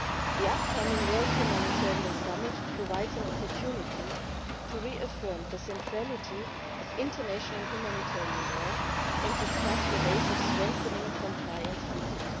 The upcoming World Humanitarian Summit provides an opportunity to reaffirm the centrality of international humanitarian law and discuss the ways of strengthening compliance with it.